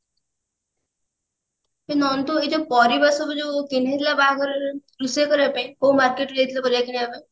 ଏ ନନ୍ଦୁ ଏ ଯୋଉ ପରିବା ସବୁ ଯୋଉ କିଣି ନଥିଲ ବାହାଘରରେ ରୋଷେଇ କରିବା ପାଇଁ କୋଉ market ରୁ ଯାଇଥିଲ ପରିବା କିଣିବା ପାଇଁ